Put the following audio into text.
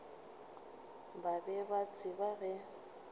ba be ba tseba ge